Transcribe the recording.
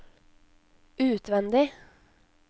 utvendig